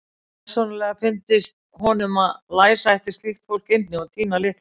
Persónulega fyndist honum að læsa ætti slíkt fólk inni og týna lyklinum.